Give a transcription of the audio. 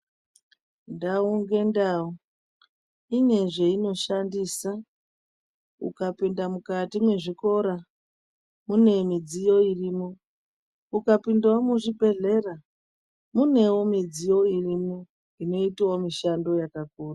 Ndau ngendau ine zveinoshandisa. Ukapinda mukati mwezvikora mune midziyo irimwo. Ukapindawo muzvibhedhlera munewo midziyo irimwo inoitawo mishando yakakura.